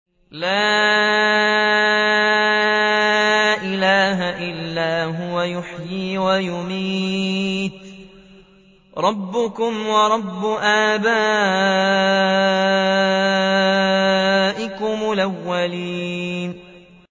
لَا إِلَٰهَ إِلَّا هُوَ يُحْيِي وَيُمِيتُ ۖ رَبُّكُمْ وَرَبُّ آبَائِكُمُ الْأَوَّلِينَ